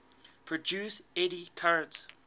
produce eddy currents